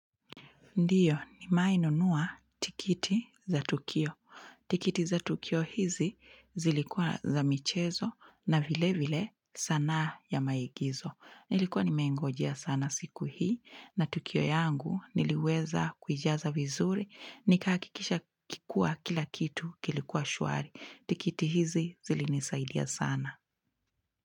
Ndiyo, ni maimewai tikiti za Tukio. Tikiti za Tukio hizi zilikua za michezo na vile vile sanaa ya maigizo. Nilikuwa ni mengojea sana siku hii na Tukio yangu niliweza kuijaza vizuri. Nikaakikisha kikua kila kitu kilikuwa shuari. Tikiti hizi zilinisaidia sana.